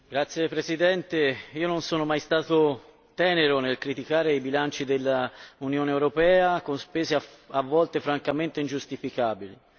Signor Presidente, non sono mai stato tenero nel criticare i bilanci dell'Unione europea, con spese a volte francamente ingiustificabili.